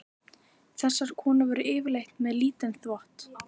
Þessar konur voru yfirleitt með lítinn þvott.